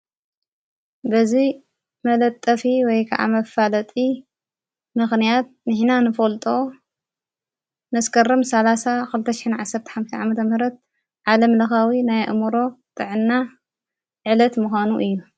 በዙይ መለጠፊ ወይ ከዓ መፋለጢ ምኽንያት ንሕና ንፈልጦ መስከረም 30/2015 ዓመተ ምህረት ዓለም ለኻዊ ናይ ኣእምሮ ጥዕና ዕለት ምዃኑ እዩ፡፡